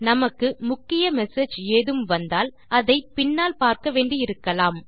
நமக்கு முக்கிய மெசேஜ் ஏதும் வந்தால் அதை பின்னால் பார்க்க வேண்டி இருக்கலாம்